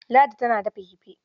Ladi tana dafa kifi.